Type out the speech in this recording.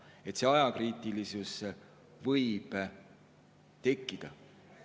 Nii et see ajakriitilisus võib tekkida.